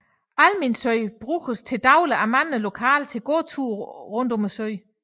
Almindsø bruges dagligt af mange lokale til gåture rundt om søen